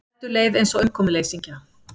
Eddu leið eins og umkomuleysingja.